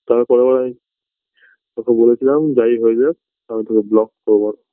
তার পরের বার আমি ওকে বলেছিলাম যাই হয়ে যাক আমি তোকে block করবো না